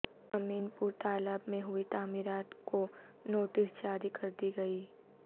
امین پور تالاب میں ہوئی تعمیرات کو نوٹس جاری کردی گئی